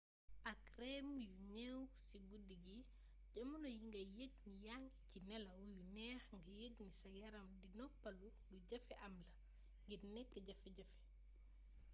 ak rem yu néew ci guddi gi jamono yi ngay yëg ni yaa ngi ci nelaw yu neex nga yëg ni sa yaram di noppaloo lu jafee am la ngir nekk jafe-jafe